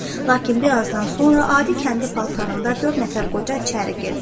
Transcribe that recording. Lakin bir azdan sonra adi kəndi paltarında dörd nəfər qoca içəri girdi.